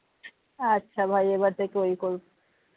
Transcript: আচ্ছা ভাই এবার থেকে ওই করবো